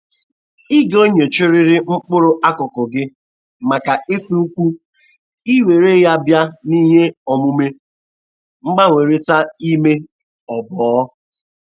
Ị ga-enyochrịrị mkpụrụ akụkụ gị maka ifu upu i were ya bịa nihe omume mgbanwerịta ime oboo.